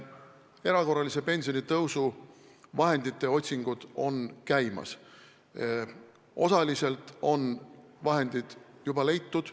Erakorralise pensionitõusu vahendite otsingud käivad, osaliselt on vahendid juba leitud.